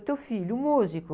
E teu filho? Músico.